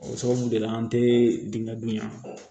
O sababu de la an te dingɛ dun yan